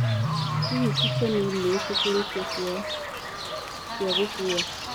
hĩhĩ chicken inn niĩtikiritie kũoya cĩa gũkũwa